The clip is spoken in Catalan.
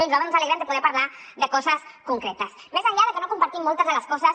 i nosaltres ens alegrem de poder parlar de coses concretes més enllà de que no compartim moltes de les coses